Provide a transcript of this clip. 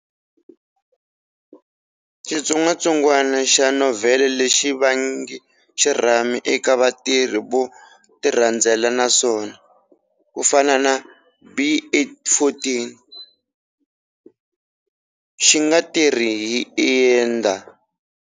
Xitsongwatsongwana xa novhele lexi vange xirhami eka vatirhi vo tirhandzela naswona, ku fana na B814, xi nga tirhi hi ether.